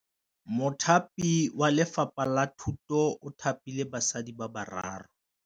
Mothapi wa Lefapha la Thutô o thapile basadi ba ba raro.